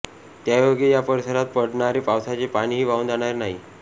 त्यायोगे या परिसरात पडणारे पावसाचे पाणीही वाहून जाणार नाही